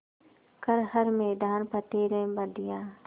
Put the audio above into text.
कर हर मैदान फ़तेह रे बंदेया